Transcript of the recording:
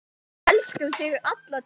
Við elskum þig alla tíð.